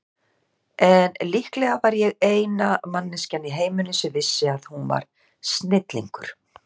En líklega var ég eina manneskjan í heiminum sem vissi að hún var snillingur.